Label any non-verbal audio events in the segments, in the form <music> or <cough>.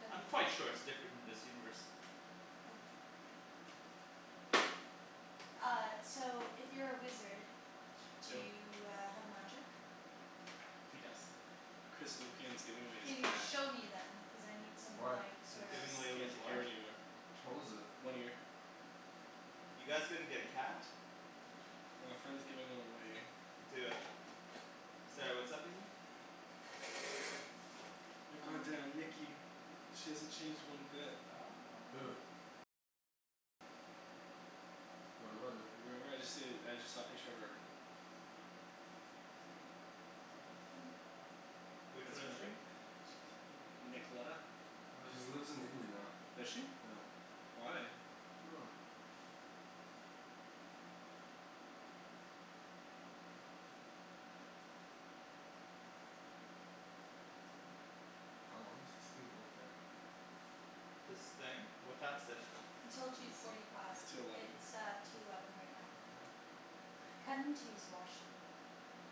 w I'm quite sure it's different in this universe. Oh. Uh so if you're a wizard, do Dill. you uh have magic? He does. Chris Lupian is giving away his Can you cat. show me then? Cuz I need some Why? like sorta <noise> Giving away Just with can't take care what? of it anymore. How old is it? One year. You guys gonna get a cat? Well a friend's giving one away. Do it. Sorry, what's up Nikki? My god damn <noise> Nikki, she hasn't changed one bit. Who? <noise> What about her? You remember I just said I just saw a picture of her. <noise> Which That's one her is she? right? N- Nicolena? I don't She's remember. lives in Italy now. Does she? Yeah. Why? I dunno. How long does this thing go for? This thing? What time is it? Until two forty It's five. two eleven. It's uh two eleven right now. <noise> Kinda need to use the washroom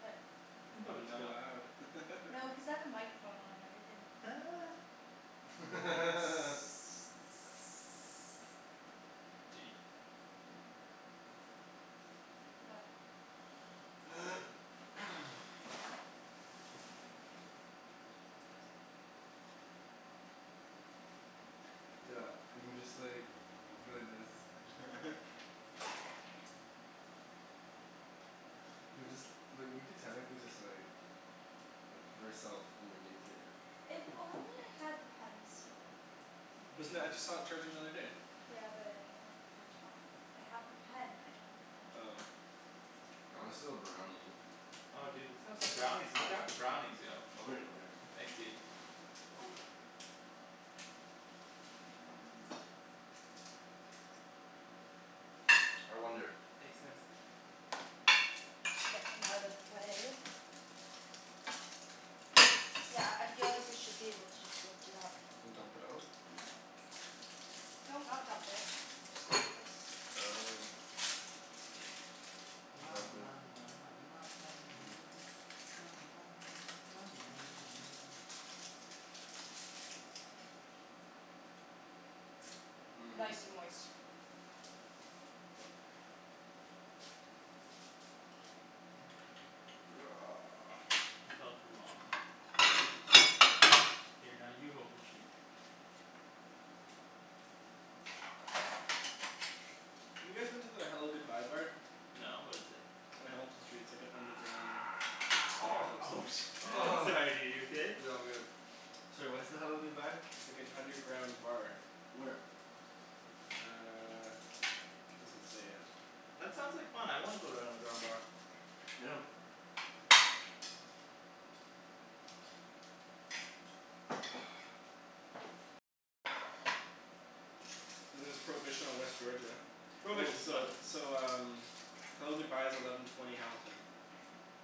but You can probably just Not go. allowed. <laughs> No because I have a microphone on and everything. <laughs> I'd be like <noise> <laughs> <noise> What? <noise> Yeah, we can just like go like this. Chill. <laughs> We could just <laughs> like, we could technically just like like put ourself underneath here. If only I had the pen still. Wasn't that, I just saw it <noise> charging the other day. Yeah but I don't have the pen top. I have the pen, I don't have the pen Oh. top. I wanna steal a brownie. Oh dude let's have some brownies. Let's have some brownies, yo. Oh Ryan over here. Thanks dude. <noise> And I wonder Thanks Nikks. Get them out of the way. Yeah, I feel like we should be able to just lift it up. And dump it out? <noise> No, not dump it. <noise> Just go like this. Oh Ma Lovely. ma ma ma ma ma ma ma <noise> mia ma ma ma ma ma ma ma ma mia. Mhm. Nice and moist. <noise> It felt wrong. Here now you hold the sheep. Have you guys been to the Hello Goodbye Bar? No, what is it? On Hamilton Street. It's like an underground bar, it <noise> looks Oh like. <noise> shi- <noise> Sorry dude, are you okay? Yeah, I'm good. Sorry, what's the Hello Goodbye? Like an underground bar. Where? Uh, it doesn't say yet. That sounds like fun, I wanna go to an underground bar. Yeah. <noise> And there's Prohibition on West Georgia. Oh, Prohibition's fun. so so um Hello Goodbye is eleven twenty Hamilton.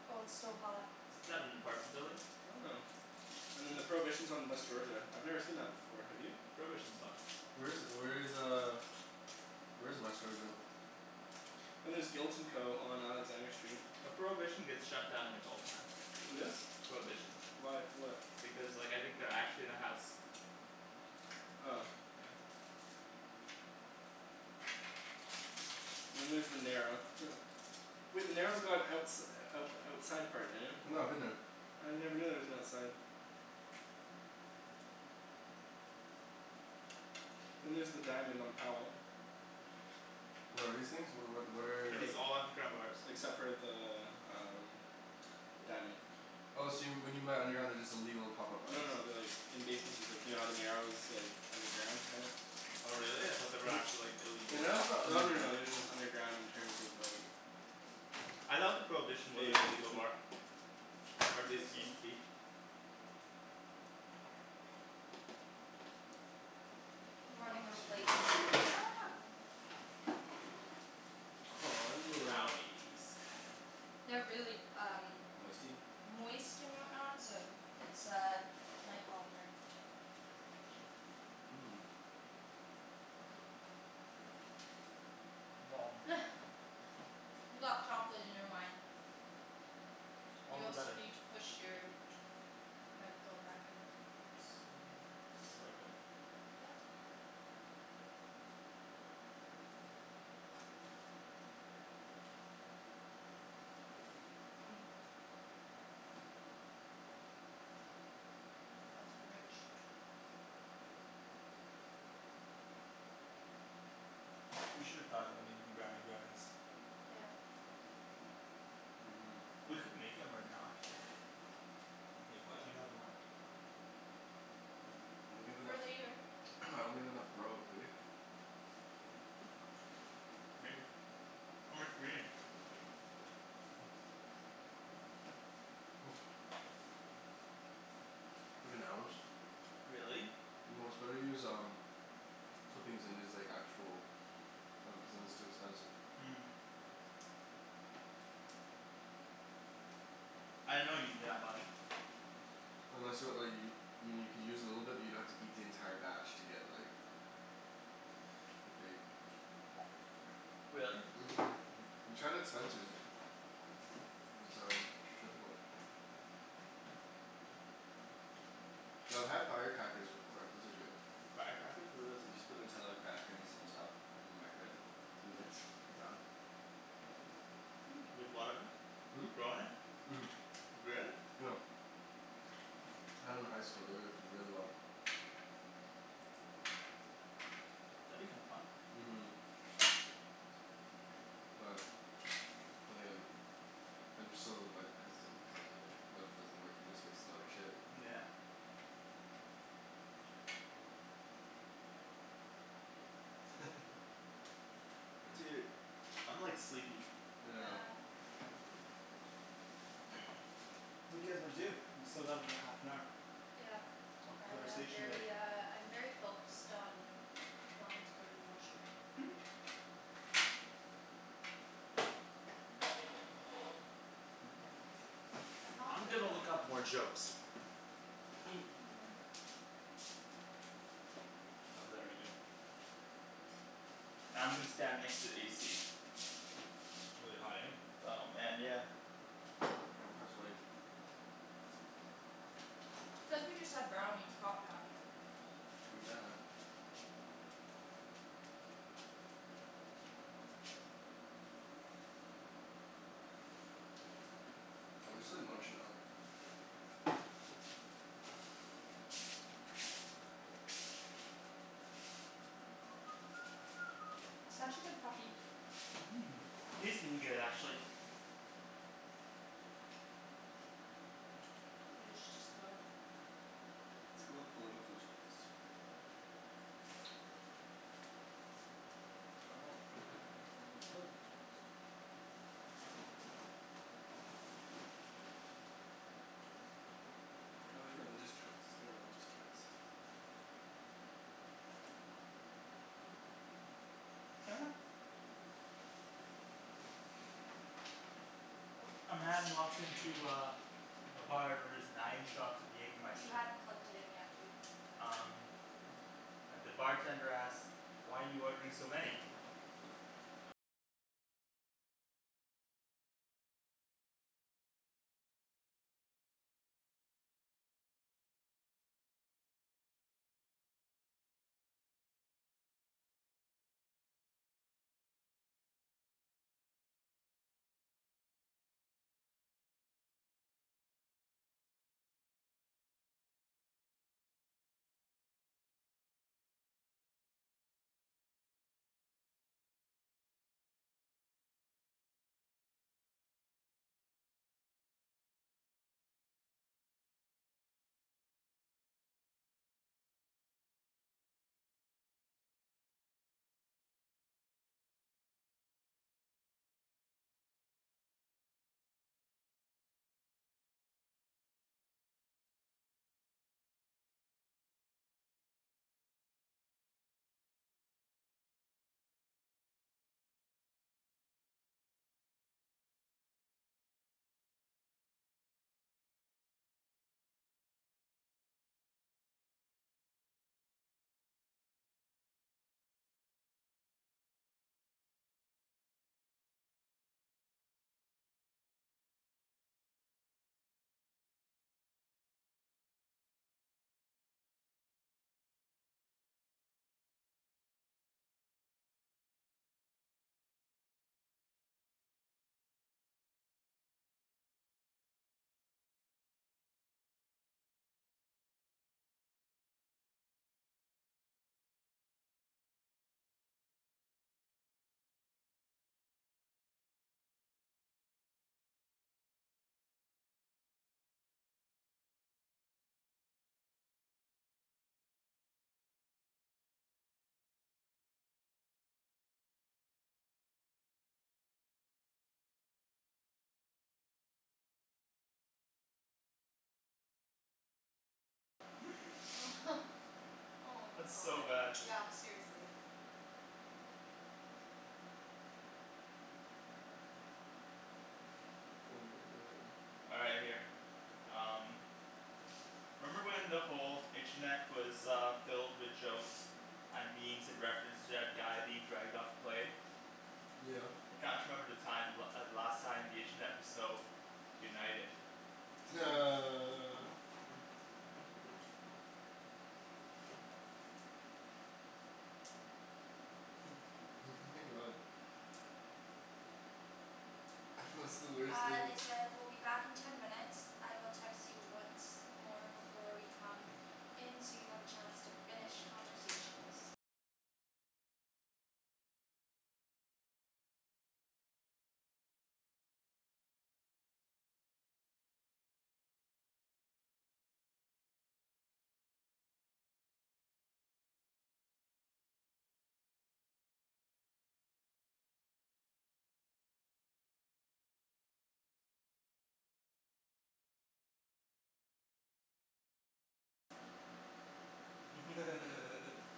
Well it's still hot. Isn't that an apartment building? I don't know. And then the Prohibition is on West Georgia. I've never seen that before, have you? Prohibition's fun. Where is where is uh where is West Georgia? And there's Guilt and Co. on Alexander Street. Well Prohibition gets shut down like all the time. Who does? Prohibition. Why? For what? Because like I think they're actually in a house. Oh. Yeah. Then there's The Narrow <laughs> Wait The Narrow's got outs- out outside part, Daniel. I know, I've been there. I never knew there was an outside. Then there's the Diamond on Powell. What are these things? What what what Are are Like these all underground bars? except for the um The Diamond. Oh so when you meant underground, they're just illegal pop up No bars no no they're like in basementses. Like you know how the Narrow is like underground, kinda? Oh really? I thought they were actually <noise> like illegal The Narrow's pot not bars. Oh no no underground. no they're just underground in terms of like I thought the Prohibition was They an like it's illegal an bar. Or at I least think it so. used to be. We're running out of plates. <noise> Aw yeah. Brownies. <noise> They're really um Moisty? moist and whatnot, so it's uh might fall apart. Mmm. <noise> <noise> <laughs> You got chocolate in your wine. All You the also better. need to push your microphone back in. Oopsie. Is this the right way? Yeah. Yep. <noise> That's rich. We should've thought about making brownie brownies. Yeah. Mhm. We <noise> could make 'em right now actually. Make what? Do you have more? <noise> I don't have For enough, later. <noise> I don't have enough grow, do we? Maybe. How much do we need? <noise> <noise> Like an ounce. Really? Well it's better to use um clippings than it is like actual, cuz then it's too expensive. <noise> I didn't know you needed that much. Unless you want like y- I mean you could use a little bit but you'd have to eat the entire batch to get like get baked. <noise> Really? Mhm. <noise> We tried at Spencer's. It was um difficult. Yo I've had firecrackers before. Those are good. Firecrackers? What are those? You just put Nutella cracker and some stuff in the microwave. Two minutes. Done. <noise> With what in it? Hmm? With grow in it? Mhm. Really? Yep. Had 'em in high school, they worked really well. That'd be kinda fun. Mhm. Well, then again I'm so like hesitant, cuz I'm like what if it doesn't work? You just wasted all your shit. Yeah. <laughs> Dude, I'm like sleepy. Yeah. Yeah. <noise> What do you guys wanna do? We still got another half an hour. Yeah. Of I am conversation to make. very uh I'm very focused on wanting to go to the washroom. <noise> I'm <noise> not I'm good gonna when look it up <noise> more jokes. <laughs> <noise> I'll do that right now. I'm gonna stand next to the AC. It's really hot, eh? Oh man, yeah. Yeah, I'm kinda sweaty. Cuz we just had brownies, hot brownies. True that. I'm just like munchin' out. Such a good puppy. Mhm, he's been good actually. You guys should just go. Let's go with political jokes. I don't want funny headlines, I want political jokes. <noise> Oh there's religious jokes. Let's go with religious jokes. <laughs> <noise> A man walks into uh a bar and orders nine shots of You Jaegermeister. hadn't plugged it in yet, dude. Um And the bartender asks, "Why are you ordering so many?" <laughs> <laughs> Oh my That's so bad. god. Yeah, seriously. Oh my god. All right, here. Um. Remember when the whole <noise> internet was uh filled with jokes and memes in reference to that guy being dragged off the plane? Yeah. I can't remember the time the la- the last time the internet was so united. <laughs> <noise> <laughs> <laughs> <noise> What's the worst Uh thing they said "We'll be back in ten minutes. I will text you once more before we come in so you have a chance to finish conversations." <laughs>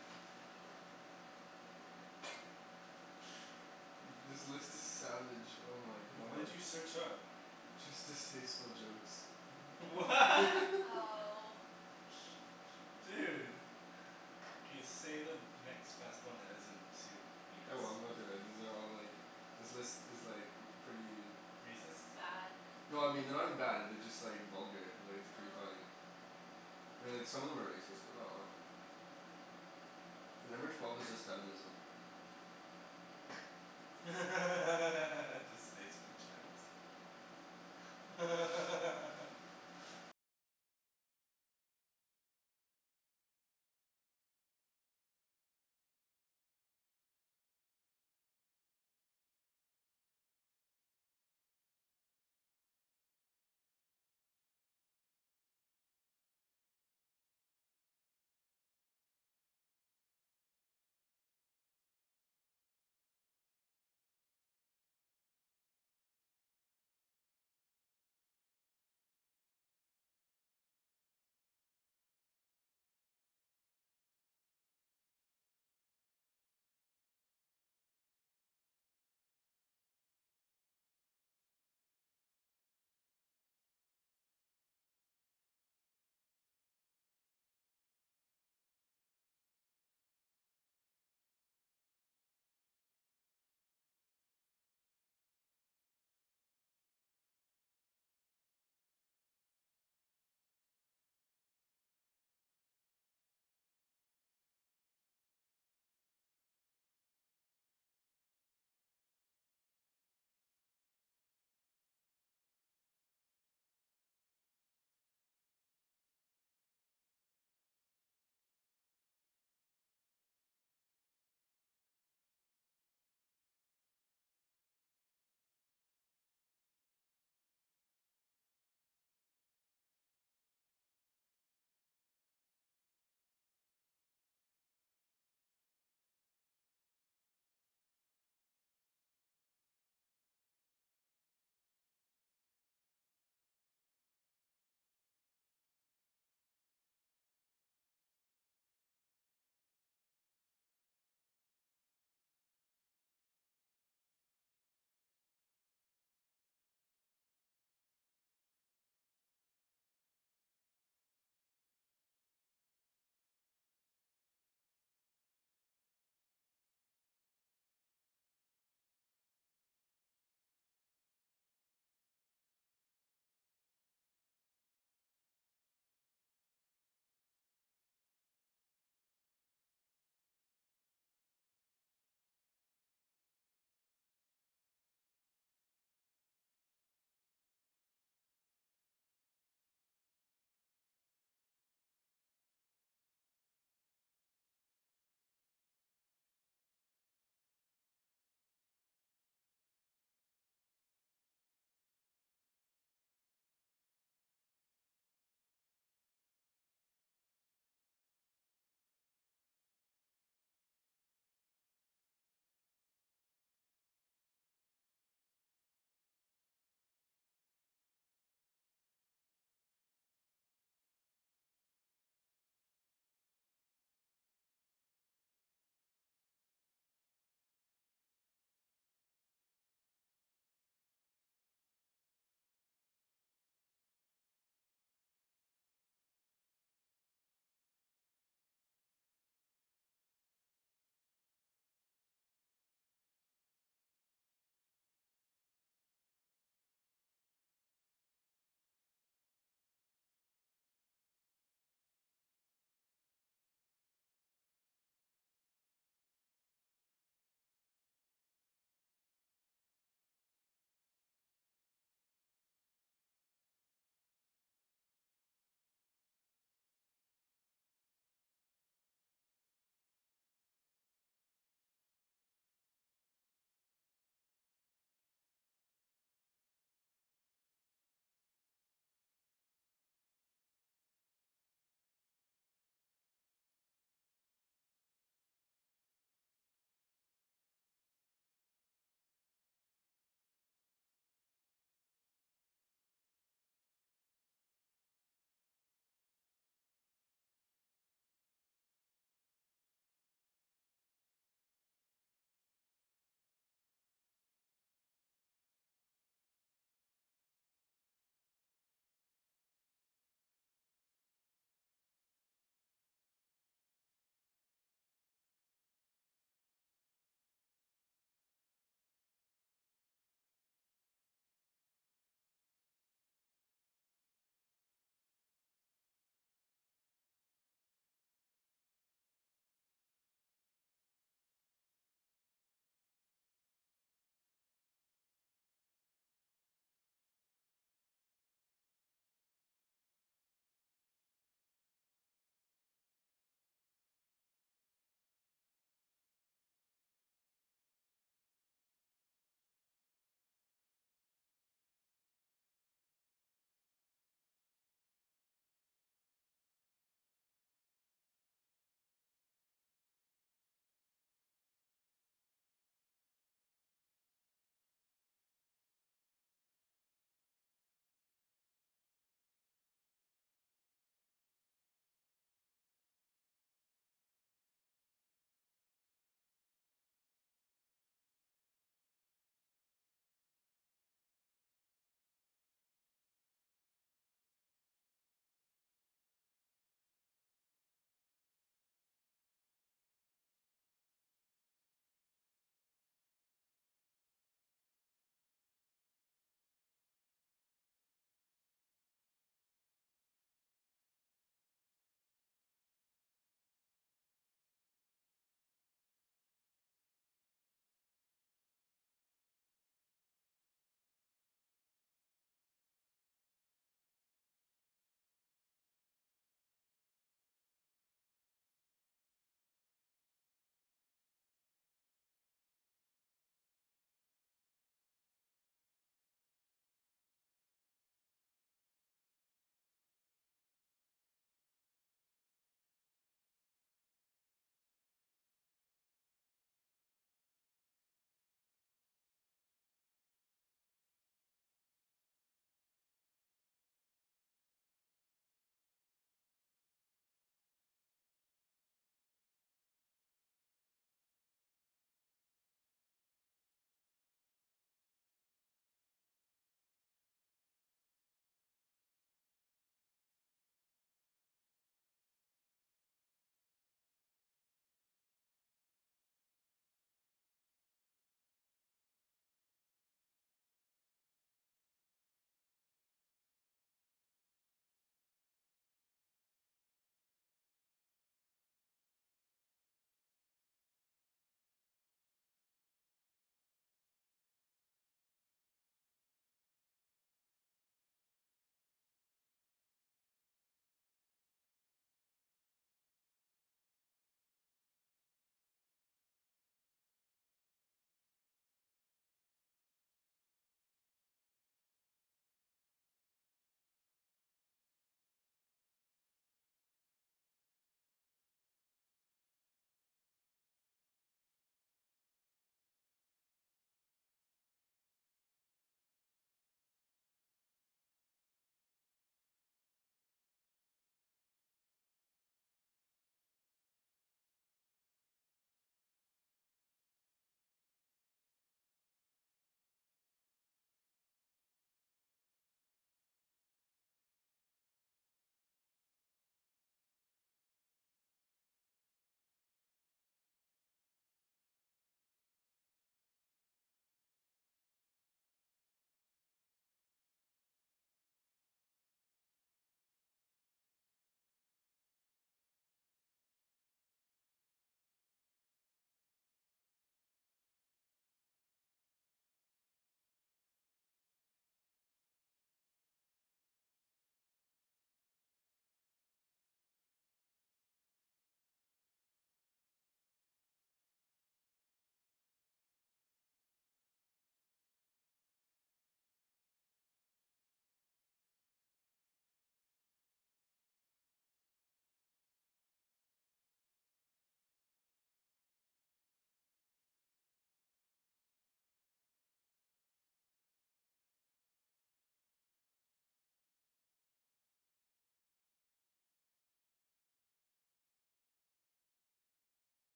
<noise> This list is savage, oh my What did god. you search up? Just distasteful jokes. <laughs> <laughs> <laughs> Wha? Oh. Dude. K, say the next best one that isn't too heinous. Oh well I'm gonna throw it, these are all like, this list is like pretty Racist? Bad. No I mean they're not even bad, they're just like vulgar, like it's pretty Oh. funny. I mean like some of them are racist, but not a lot. Like number twelve is just feminism. <laughs> Distasteful jokes. <laughs>